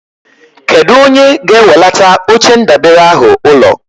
Kedụ onye ga-ewelata oche ndabere ahụ ụlọ?